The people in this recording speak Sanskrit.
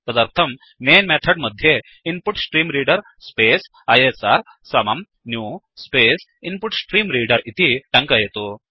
तदर्थं मैन् मेथड् मध्ये इन्पुट्स्ट्रीम्रेडर स्पेस् आईएसआर समं न्यू स्पेस् इन्पुट्स्ट्रीम्रेडर इति टङ्कयतु